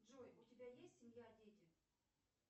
джой у тебя есть семья дети